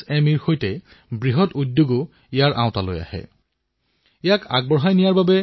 আমি এনেকুৱা খেলাসামগ্ৰী প্ৰস্তুত কৰিব লাগিব যি পৰিবেশ অনুকূলো হয়